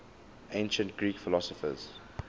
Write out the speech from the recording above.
ancient greek philosophers